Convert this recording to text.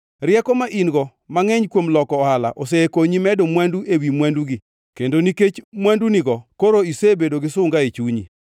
Rieko ma in-go mangʼeny kuom loko ohala osekonyi medo mwandu ewi mwandugi, kendo nikech mwandunigo koro isebedo gi sunga e chunyi.